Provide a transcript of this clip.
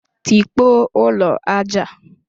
Tikpọọ ụlọ aja a!